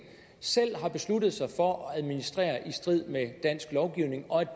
selv har besluttet sig for at administrere i strid med dansk lovgivning og